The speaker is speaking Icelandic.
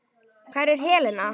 Hvar er Helena?